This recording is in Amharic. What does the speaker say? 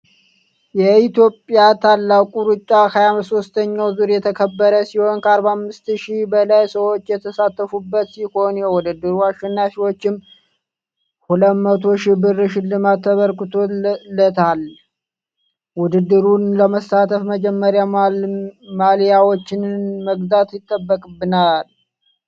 የኢትዮጵያ ታላቁ ሩጫ 23 ዙር የተከበረ ሲሆን ከ45ሽህ በላይ ሰዎች የተሳተፉበት ሲሆን የውድድሩ አሸናፊም 200 ሺህ ብር ሽልማት ተበርክቶለታል። ውድድሩን ለመሳተፍም መጀመሪያ ማልያዎችን መግዛት ይጠበቅብናል።